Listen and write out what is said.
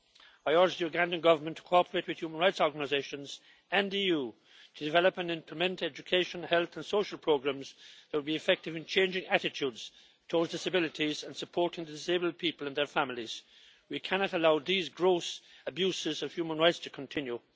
I urge the Ugandan Government to cooperate with human rights organisations, and the EU, to develop and implement education, health and social programmes that will be effective in changing attitudes towards disabilities and supporting disabled people and their families. We cannot allow these gross abuses of human rights to continue.